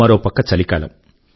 మరో పక్క చలికాలం